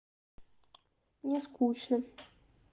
мне скучно